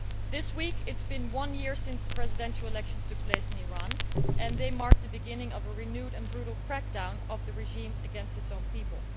This week, it has been one year since the presidential elections took place in Iran, and they mark the beginning of a renewed and brutal crack down by the regime against its own people.